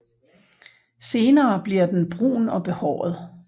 Senere blver den brun og behåret